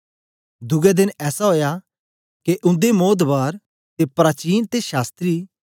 दुए देन ऐसा ओया के उंदे मोधकर ते प्राचीन ते शास्त्री